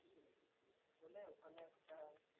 বলে ওখানে একটা